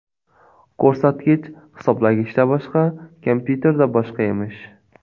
Ko‘rsatkich hisoblagichda boshqa, kompyuterda boshqa emish.